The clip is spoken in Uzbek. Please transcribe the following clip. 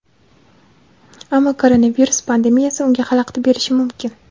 Ammo koronavirus pandemiyasi unga xalaqit berishi mumkin.